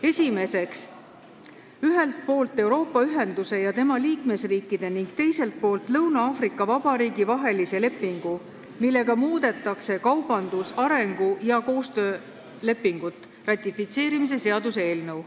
Esiteks, "Ühelt poolt Euroopa Ühenduse ja tema liikmesriikide ning teiselt poolt Lõuna-Aafrika Vabariigi vahelise lepingu, millega muudetakse kaubandus-, arengu- ja koostöölepingut" ratifitseerimise seaduse eelnõu.